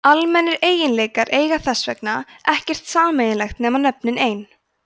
almennir eiginleikar eiga þess vegna ekkert sameiginlegt nema nöfnin ein